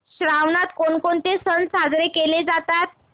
श्रावणात कोणकोणते सण साजरे केले जातात